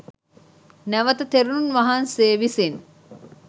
නැවත තෙරුන් වහන්සේ විසින්